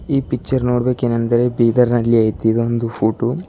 ಈ ಪಿಚ್ಚರ್ ನೋಡಬೇಕ್ ಏನಂದರೆ ಬೀದರ್ನಲ್ಲಿ ಐತಿ ಇದೊಂದು ಫೋಟೋ .